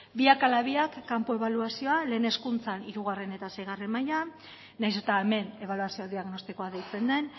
biak ala biak kanpo ebaluazioa lehen hezkuntzan hirugarren eta seigarren mailan nahiz eta hemen ebaluazio diagnostikoa deitzen den